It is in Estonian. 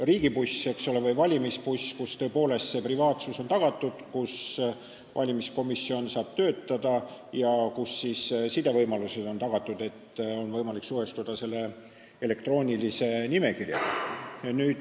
– riigibuss või valimisbuss, kus privaatsus on tagatud, kus valimiskomisjon saab töötada ja kus sidevõimalused on tagatud, et oleks võimalik suhestuda elektroonilise nimekirjaga.